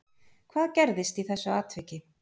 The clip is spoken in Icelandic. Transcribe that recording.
Hvað gerðist í þessu atviki